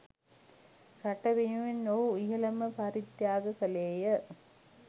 රට වෙනුවෙන් ඔහු ඉහළම පරිත්‍යාගය කළේය